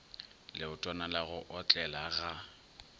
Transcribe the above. leotwana la go otlela ga